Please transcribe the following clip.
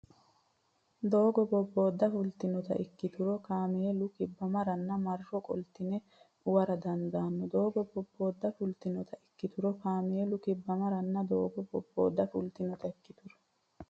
Doogo bobboodda fultinota ikkituro kaameelu kibbamaranna marro qoltine uwara dandaanno Doogo bobboodda fultinota ikkituro kaameelu kibbamaranna Doogo bobboodda fultinota ikkituro.